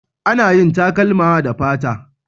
Ana yin takalma da fata